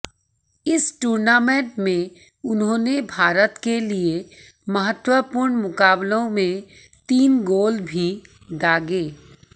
इस टूर्नामेंट में उन्होंने भारत के लिए महत्वपूर्ण मुकाबलों में तीन गोल भी दागे